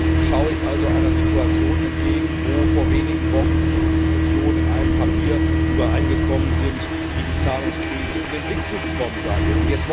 So schaue ich also einer Situation entgegen, wo vor wenigen Wochen die Institutionen in einem Papier übereingekommen sind, wie die Zahlungskrise in den Griff zu bekommen sein wird.